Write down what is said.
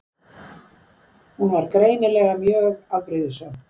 Hún var greinilega mjög afbrýðisöm.